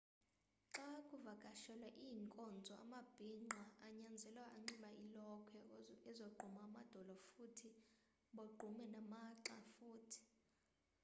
xakuvakashelwa iinkonzo amabhingqa anyanzelwa anxibe iilokhwe ezogquma amadolo futhi bogqume namagxa futhi